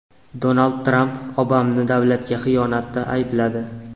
Donald Tramp Obamani davlatga xiyonatda aybladi.